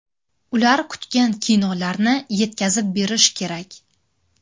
Ular kutgan kinolarni yetkazib berish kerak.